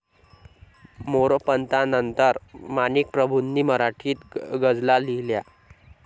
मोरोपंतांनंतर माणिकप्रभूंनी मराठीत गझला लिहिल्या.